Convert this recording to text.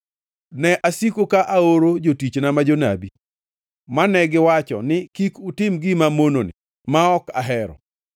Ne asiko ka aoro jotichna ma jonabi, mane giwacho ni, ‘Kik utim gima mononi ma ok ahero!’